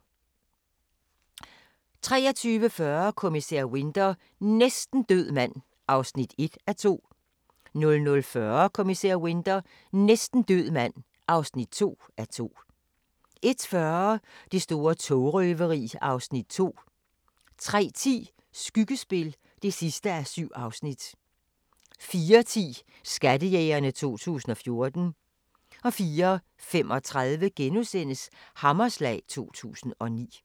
23:40: Kommissær Winter: Næsten død mand (1:2) 00:40: Kommissær Winter: Næsten død mand (2:2) 01:40: Det store togrøveri (Afs. 2) 03:10: Skyggespil (7:7) 04:10: Skattejægerne 2014 04:35: Hammerslag 2009 *